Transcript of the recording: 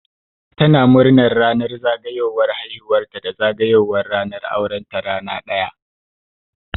Tana murnar ranar zagayowar haihuwar ta da zagayowar ranar auren ta rana ɗaya